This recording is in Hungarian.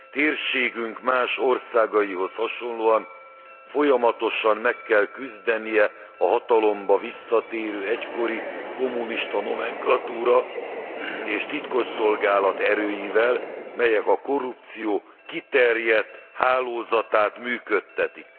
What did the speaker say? Térségünk más országaihoz hasonlóan folyamatosan meg kell küzdenie a hatalomba visszatérő egykori kommunista nómenklatúra és titkosszolgálat erőivel, melyek a korrupció kiterjedt hálózatát működtetik.